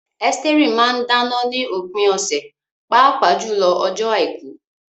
Esteri máa ń dáná ní òpin ọ̀sẹ̀, pàápàá jùlọ ọjọ́ Àìkú.